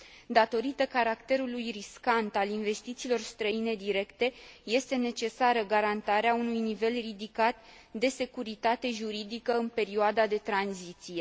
Datorită caracterului riscant al investițiilor străine directe, este necesară garantarea unui nivel ridicat de securitate juridică în perioada de tranziție.